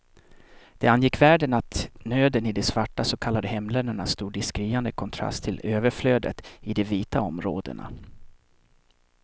Det angick världen att nöden i de svarta så kallade hemländerna stod i skriande kontrast till överflödet i de vita områdena.